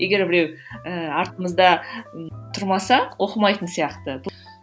егер біреу ыыы артымызда ы тұрмаса оқымайтын сияқты